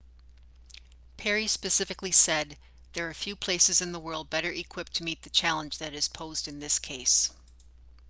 perry specifically said there are few places in the world better equipped to meet the challenge that is posed in this case